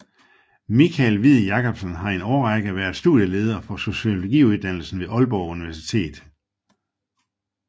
Michael Hviid Jacobsen har i en længere årrække været studieleder for Sociologiuddannelsen ved Aalborg Universitet